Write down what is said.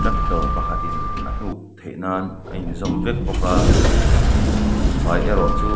tractor pakhatin a hnuk theih nan a in zawm vek bawk a buhfai erawh chu --